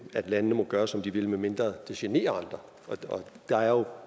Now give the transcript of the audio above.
at landene må gøre som de vil medmindre det generer andre og der er jo